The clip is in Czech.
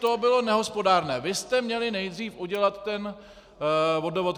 To bylo nehospodárné, vy jste měli nejdříve udělat ten vodovod."